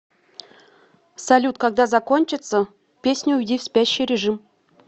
салют когда закончится песня уйди в спящий режим